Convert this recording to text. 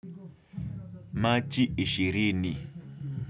Machi ishirini.